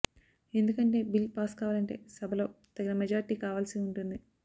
ఎందుకంటే bill pass కావాలంటే సభలో తగిన మెజార్టీ కావాల్సి ఉంటుంది